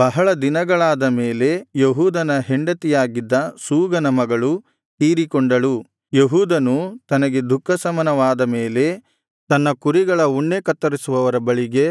ಬಹಳ ದಿನಗಳಾದ ಮೇಲೆ ಯೆಹೂದನ ಹೆಂಡತಿಯಾಗಿದ್ದ ಶೂಗನ ಮಗಳು ತೀರಿಕೊಂಡಳು ಯೆಹೂದನು ತನಗೆ ದುಃಖಶಮನವಾದ ಮೇಲೆ ತನ್ನ ಕುರಿಗಳ ಉಣ್ಣೆ ಕತ್ತರಿಸುವವರ ಬಳಿಗೆ